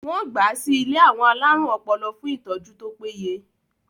wọ́n gbà á sí ilé àwọn alárùn ọpọlọ fún ìtọ́jú tó péye